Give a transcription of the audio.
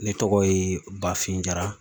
Ne tɔgɔ ye BAFIN JARA.